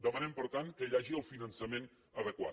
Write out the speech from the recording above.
demanem per tant que hi hagi el finançament adequat